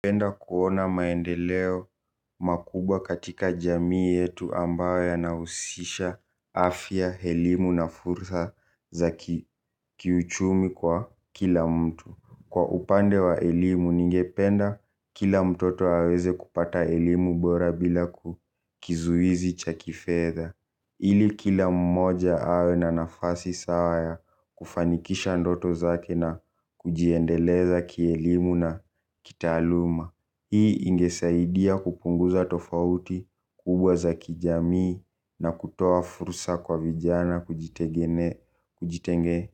Penda kuona maendeleo makubwa katika jamii yetu ambayo ya nahusisha afya elimu na fursa za kiuchumi kwa kila mtu. Kwa upande wa elimu ningependa kila mtoto aweze kupata elimu bora bila kukizuizi chakifedha ili kila mmoja awe na nafasi sawa ya kufanikisha ndoto zake na kujiendeleza kielimu na kitaaluma. Hii ingesaidia kupunguza tofauti kubwa za kijamii na kutoa fursa kwa vijana kujitenge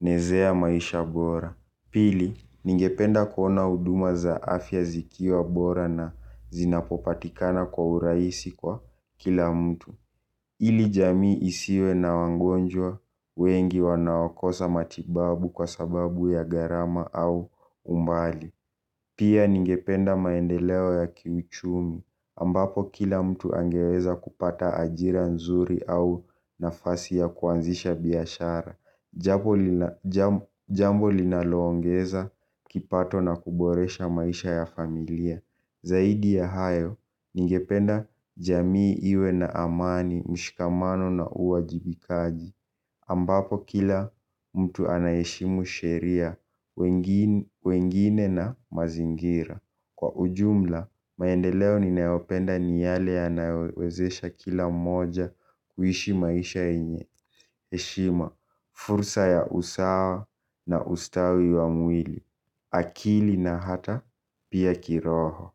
nezea maisha bora. Pili, ningependa kuona huduma za afya zikiwa bora na zinapopatikana kwa uraisi kwa kila mtu. Ili jamii isiwe na wangonjwa wengi wanaokosa matibabu kwa sababu ya garama au umbali. Pia ningependa maendeleo ya kiuchumi ambapo kila mtu angeweza kupata ajira nzuri au nafasi ya kuanzisha biashara. Jambo linaloongeza kipato na kuboresha maisha ya familia. Zaidi ya hayo ningependa jamii iwe na amani mshikamano na uwajibikaji ambapo kila mtu anayeheshimu sheria, wengine na mazingira kwa ujumla, maendeleo ninayopenda ni yale yanayowezesha kila moja kuishi maisha yenye heshima. Fursa ya usawa na ustawi wa mwili, akili na hata pia kiroho.